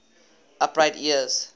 upright ears